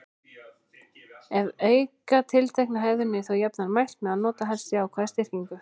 Ef auka á tiltekna hegðun er þó jafnan mælt með að nota helst jákvæða styrkingu.